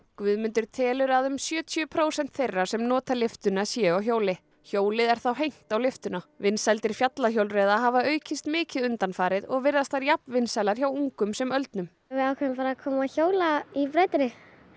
Guðmundur telur að um sjötíu prósent þeirra sem nota lyftuna séu á hjóli hjólið er þá hengt á lyftuna vinsældir fjallahjólreiða hafa aukist mikið undanfarið og virðast þær jafn vinsælar hjá ungum sem öldnum við ákváðum bara að koma og hjóla í brautinni